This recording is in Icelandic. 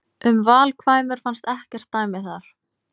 Um valkvæmur fannst ekkert dæmi þar.